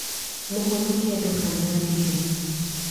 Mũhonokia ndũkanandige